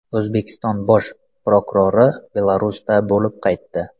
O‘zbekiston bosh prokurori Belarusda bo‘lib qaytdi.